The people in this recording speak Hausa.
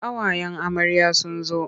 Ƙawayen amarya sun zo.